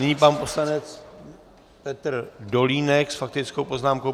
Nyní pan poslanec Petr Dolínek s faktickou poznámkou.